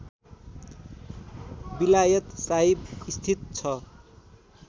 विलायत साहिब स्थित छ